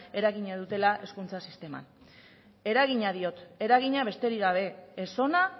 eragina dutela hezkuntza sisteman eragina diot eragina besterik gabe ez ona